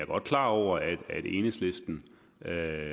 godt klar over at enhedslisten